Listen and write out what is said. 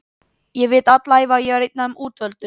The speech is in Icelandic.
Ég hef vitað alla ævi að ég var einn af þeim útvöldu